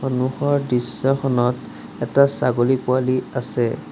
সন্মুখৰ দৃশ্যখনত এটা ছাগলী পোৱালি আছে।